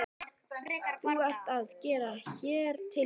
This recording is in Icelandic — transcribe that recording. Þú ert að gera hér tilraunir?